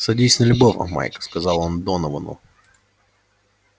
садись на любого майк сказал он доновану